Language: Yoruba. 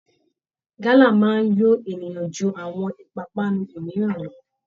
Gálà máa ń yó èèyàn ju àwọn ìpápánu mìíràn lọ